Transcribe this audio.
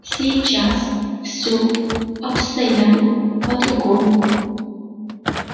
сейчас все обстояло по-другому